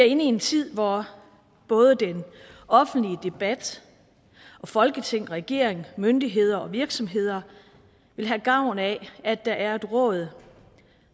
en tid hvor både den offentlige debat og folketing regering myndigheder og virksomheder vil have gavn af at der er et råd